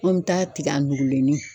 An bɛ taa tigɛ an nuugulennin.